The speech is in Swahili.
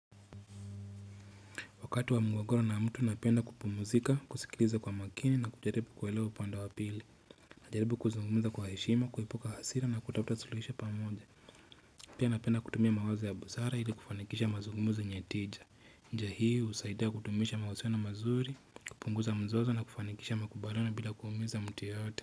Wakati wa mgogoro na mtu napenda kupumuzika, kusikiliza kwa makini na kujaribu kuelewa upande wa pili. Najaribu kuzungumza kwa heshima, kuepuka hasira na kutafuta suluhisho pamoja. Pia napenda kutumia mawazo ya busara ili kufanikisha mazungumzo yenye tija. Tija hii husaidia kudumisha mahusiano mazuri, kupunguza mzozo na kufanikisha makubaliano bila kuumiza mtu yoyote.